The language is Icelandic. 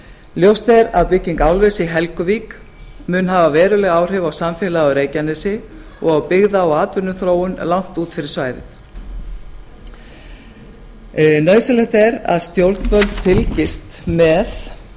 ljóst er að bygging álvers í helguvík mun hafa veruleg áhrif á samfélagið á reykjanesi og á byggða og atvinnuþróun langt út fyrir svæðið nauðsynlegt er að stjórnvöld fylgist með